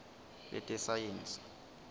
letesayensi